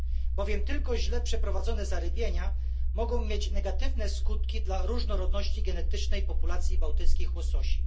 Bowiem tylko źle przeprowadzone zarybienia mogą mieć negatywne skutki dla różnorodności genetycznej populacji bałtyckich łososi.